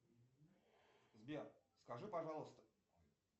сбер скажи пожалуйста